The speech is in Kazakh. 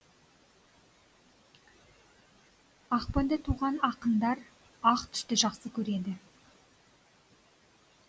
ақпанда туған ақындар ақ түсті жақсы көреді